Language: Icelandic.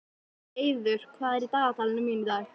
Eiður, hvað er í dagatalinu mínu í dag?